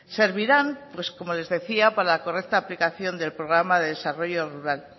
servirán pues como les decía para correcta aplicación del programa de desarrollo rural